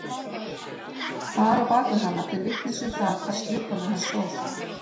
Far á bak við hana til vitnis um það hvar skrifborðið hans stóð.